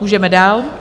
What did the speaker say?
Můžeme dále.